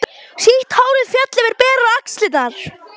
Sítt hárið féll yfir berar axlirnar.